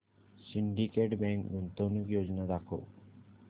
Syndicate Bank गुंतवणूक योजना दाखव